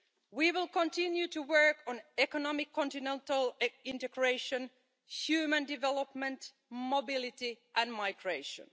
We will continue to work on economic continental integration, human development, mobility and migration.